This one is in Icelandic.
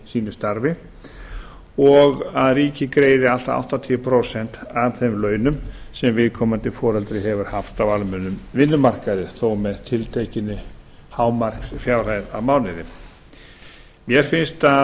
sínu starfi og að ríkið greiði allt að áttatíu prósent af þeim launum sem viðkomandi foreldri hefur haft á almennum vinnumarkaði þó með tiltekinni hámarksfjárhæð á mánuði mér finnst